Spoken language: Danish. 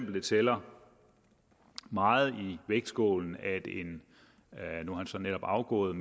det tæller meget på vægtskålen at en netop afgået